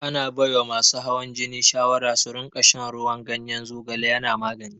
Ana baiwa masu hawan jini shawara su rinƙa shan ruwan ganyen zogale yana magani.